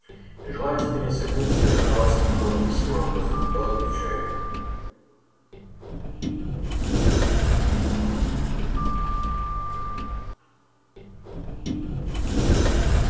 желаю тебе не согнуться и не разорваться от такого непосильного груза холодно отвечаю я